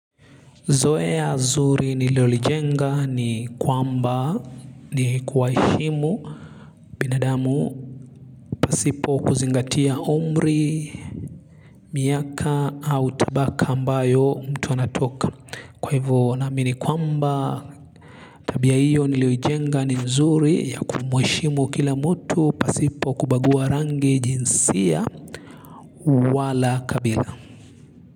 Zoea ya zuri nililo lijenga ni kwamba ni kuwaheshimu binadamu pasipo kuzingatia umri, miaka au tabaka ambayo mtu anatoka. Kwa hivyo naamini kwamba tabia hiyo nilioijenga ni nzuri ya kumuheshimu kila mtu pasipo kubagua rangi jinsia wala kabila.